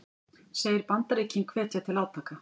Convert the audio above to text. Segir Bandaríkin hvetja til átaka